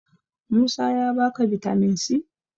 Musa ya ba ka bitamin c?